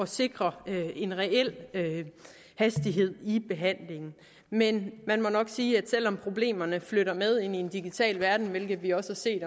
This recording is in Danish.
sikre en reel hastighed i behandlingen men man må nok sige at selv om problemerne flytter med ind i en digital verden hvilket vi også har set i